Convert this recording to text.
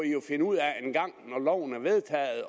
jo finde ud af engang når loven er vedtaget